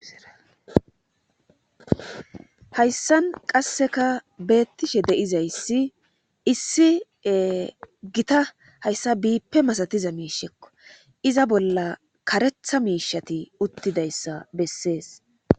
Hayssan qasseka beettishe deizayssi issie gita hayssa biippe masatiza miishekko iza bolla karetha miishati uttidayssa bessees